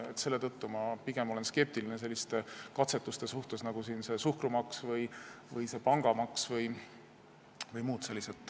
Selle tõttu olen ma pigem skeptiline selliste katsetuste suhtes, nagu see suhkrumaks, pangamaks või muud sellised.